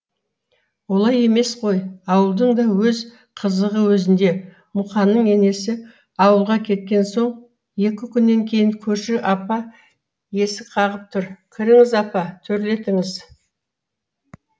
олай емес қой ауылдың да өз қызығы өзінде мұқанның енесі ауылға кеткен соң екі күннен кейін көрші апа есік қағып тұр кіріңіз апа төрлетіңіз